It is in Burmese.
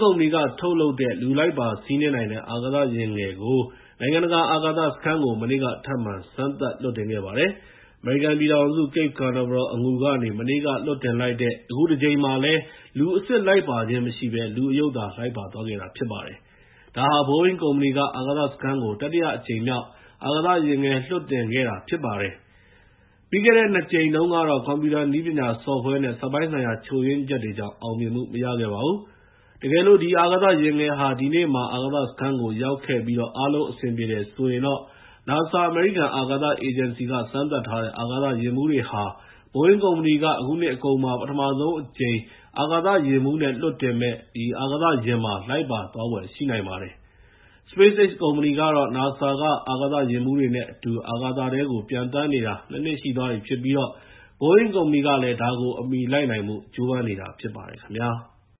ကုမ္ပဏီက ထုတ်လုပ်တဲ့ လူလိုက်ပါစီးနင်းနိုင်တဲ့ အာကာသာယာဉ်ငယ်ဟာ နိုင်ငံတကာ အာကာသစခန်းကို မနေ့က ထပ်မံ စမ်းသပ်လွှတ်တင်ခဲ့ပါတယ်။ အမေရိကန်ပြည်ထောင် Cape Canaveral အငူကနေ မနေ့က လွှတ်တင်လိုက်တဲ့ အခုတကြိမ်မှာလည်း လူအစစ်လိုက်ပါခြင်းမရှိဘဲ လူအရုပ်သာ လိုက်ပါသွားခဲ့တာဖြစ်ပါတယ်။ ဒါဟာ Boeing ကုမ္ပဏီက အာကာသစခန်းကို တတိယအကြိမ် မြောက် အာကာသယာဉ်ငယ် လွှတ်တင်ခဲ့တာဖြစ်ပါတယ်။ ပြီးခဲ့တဲ့ ၂ ကြိမ်မှာတုန်းကတော့ ကွန်ပျူတာ နည်းပညာဆော့ဖ်ဝဲ နဲ့ စက်ပိုင်းဆိုင်ရာ ချို့ယွင်းချက်တွေကြောင့် အောင်မြင်မှုမရခဲ့ပါဘူး။ တကယ်လို့ ဒီ အာကာသာယာဉ်ငယ်သာ ဒီနေ့မှာ အာကာသာစခန်းကို ရောက်ခဲ့ပြီးတော့ အားလုံးအဆင်ပြေတယ်ဆိုရင် ၊ NASA အမေရိကန် အာကာသအေဂျင်စီက စမ်းသပ်ထားတဲ့ အာကာသယာဉ်မှူးတွေဟာ Boeing ကုမ္ပဏီက အခုနှစ်အကုန်မှာ ပထမဆုံးအကြိမ် အာကာသယာဉ်မှူးနဲ့ လွှတ်တင်မယ့် အာကာသယာဉ်မှာ လိုက်ပါသွားဖွယ်ရှိနိုင်ပါတယ်။ SpaceX ကုမ္ပဏီကတော့ NASA က အာကာသယာဉ်မှူးတွေနဲ့အတူ အာကာသထဲကို ပျံသန်းနေတာ ၂ နှစ် ရှိသွားပြီဖြစ်ပြီး၊ Boeing ကုမ္ပဏီကလည်း ဒါကို အမီလိုက်နိုင်ဖို့ ကျိုးပမ်းနေတာဖြစ်ပါတယ်ခင်ဗျာ။